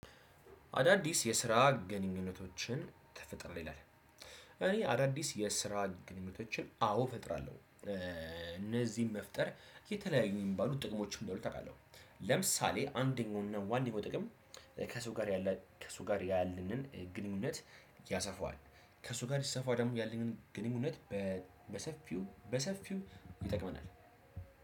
አዳዲስ የስራ ግንኙነቶችን ተፈጠረ ይላል። እኔ አዳዲስ የስራ ግንኙነቶችን አዎ እፈጥራለሁ እነዚህን መፍጠር የተለያዩ የሚባሉ ጥቅሞችን እንዳሉት እውቃለሁ። ለምሳሌ አንደኛውና ዋነኛው ጥቅም። ከሰው ጋር ያለ ከሰው ጋር ያለንን ግንኙነት ያሰፋዋል። ከሰው ጋር ሲሰፋ ደግሞ ያለንን ግንኙነት በሰፊው በሰፊው ይጠቅመናል።